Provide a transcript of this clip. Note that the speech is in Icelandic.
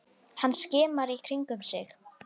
Hann skimar í kringum sig.